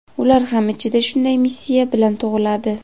ular ham ichida shunday missiya bilan tug‘iladi.